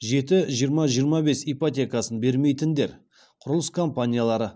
жеті жиырма жиырма бес ипотекасын бермейтіндер құрылыс компаниялары